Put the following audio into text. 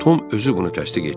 Tom özü bunu təsdiq etdi.